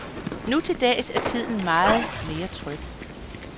Nu til dags er tiden meget mere tryg.